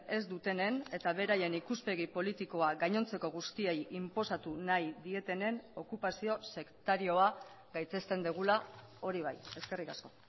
ez dutenen eta beraien ikuspegi politikoa gainontzeko guztiei inposatu nahi dietenen okupazio sektarioa gaitzesten dugula hori bai eskerrik asko